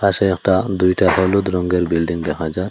পাশে একটা দুইটা হলুদ রঙ্গের বিল্ডিং দেখা যায়।